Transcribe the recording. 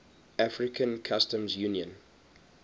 african customs union